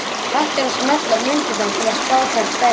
Hægt er að smella á myndirnar til að sjá þær stærri.